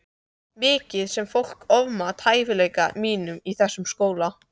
Mikið sem fólk ofmat hæfileika mína í þessum skóla.